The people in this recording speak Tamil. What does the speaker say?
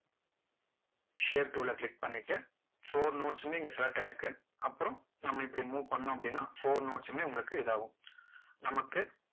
shape tool ல click பண்ணிட்டு four notes உமே இங்க select ஆகி இருக்கு அப்பறம் நம்ம இப்படி move பண்ணோம் அப்படின்னா four notes சுமே உங்களுக்கு இது ஆகும்